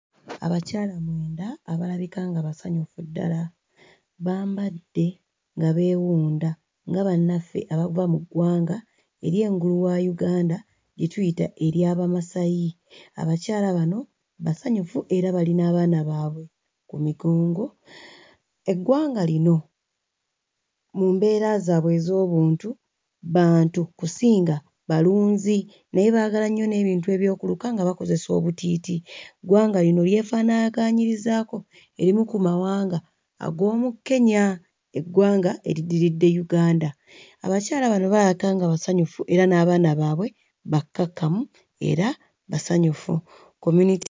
Abakyala mwenda abalabika nga basanyufu ddala bambadde nga beewunda nga bannaffe abava mu ggwanga ery'engulu wa Uganda lye tuyita erya Bamasayi. Abalyala bano basanyufu era bali n'abaana baabwe ku migongo. Eggwanga lino mu mbeera zaabwe ez'obuntu bantu kusinga balinzi naye baagala nnyo n'ebintu eby'okuluka nga bakozesa obutiiti. Ggwanga lino lyefaanaakanyirizaako erimu ku mawanga ag'omu Kenya, eggwanga eriddiridde Uganda. Abakyala bano balabika nga basanyufu era n'abaana baabwe bakkakkamu era basanyufu...